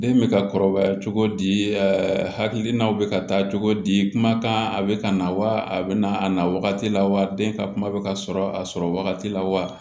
Den bɛ ka kɔrɔbaya cogo di hakilina bɛ ka taa cogo di kumakan a bɛ ka na wa a bɛ na a na wagati la wa den ka kuma bɛ ka sɔrɔ a sɔrɔ wagati la wa